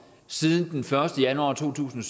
siden den første januar to tusind